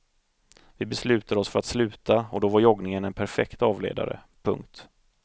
Vi beslutade oss för att sluta och då var joggningen en perfekt avledare. punkt